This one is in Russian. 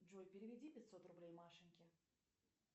джой переведи пятьсот рублей машеньке